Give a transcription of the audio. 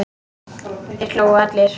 Þeir hlógu allir.